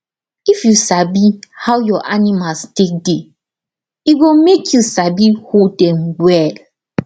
if you sabi how your animals take de e go make you sabi hold dem well